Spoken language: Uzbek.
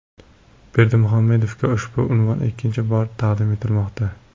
Berdimuhamedovga ushbu unvon ikkinchi bor taqdim etilmoqda.